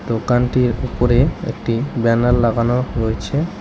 দোকানটির উপরে একটি ব্যানার লাগানো রয়েছে।